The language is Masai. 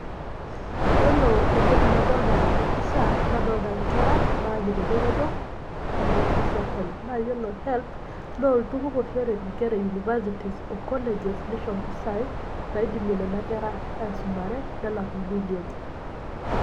Iyiolo entoki nadoolta teena pisha, nadolta inkera naanyita eretoto, teena office ee helb. iyiolo[cs[helb naa olturur oshi oret inkera ee universities oo colleges neisho impisai naidimie nena kera aisumare nelakie ibiili enye.